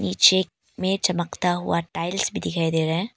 पीछे में चमकता हुआ टाइल्स भी दिखाई दे रहा है।